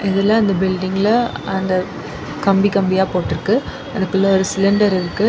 இதுல அந்த பில்டிங்கில அந்த கம்பி கம்பியா போட்ருக்கு அதுக்குள்ள ஒரு சிலிண்டர் இருக்கு.